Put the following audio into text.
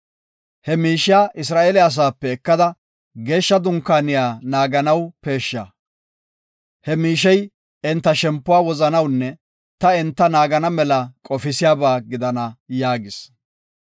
He miishiya Isra7eele asaape ekada, Geeshsha Dunkaaniya naaganaw peeshsha. He miishey enta shempuwa wozanawunne ta enta naagana mela qofisiyaba gidana” yaagis.